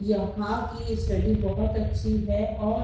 यहां की स्टडी बहोत अच्छी है और--